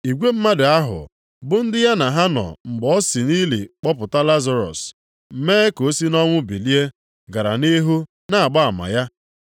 Igwe mmadụ ahụ bụ ndị ya na ha nọ mgbe o si nʼili kpọpụta Lazarọs, mee ka o sị nʼọnwụ bilie, gara nʼihu na-agba ama ya.